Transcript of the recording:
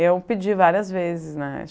Eu pedi várias vezes, né?